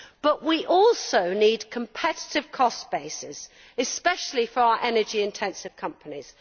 However, we also need competitive cost bases, especially for our energy intensive companies.